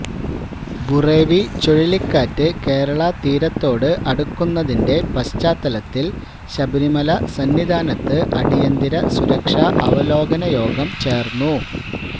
ബുറേവി ചുഴലിക്കാറ്റ് കേരളതീരത്തോട് അടുക്കുന്നതിന്റെ പശ്ചാത്തലത്തില് ശബരിമല സന്നിധാനത്ത് അടിയന്തര സുരക്ഷാ അവലോകനയോഗം ചേര്ന്നു